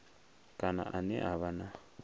kana ane a vha na